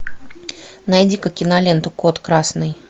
найди ка киноленту код красный